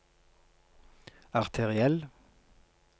arteriell